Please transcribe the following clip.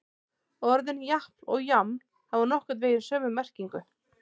Orðin japl og jaml hafa nokkurn veginn sömu merkingu.